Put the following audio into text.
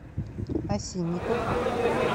осинников